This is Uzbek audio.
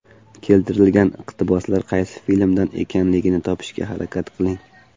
Keltirilgan iqtiboslar qaysi filmdan ekanligini topishga harakat qiling.